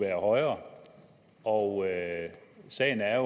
være højere og sagen er